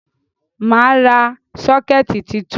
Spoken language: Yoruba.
Mà á ra sọ́kẹ́tì tuntun.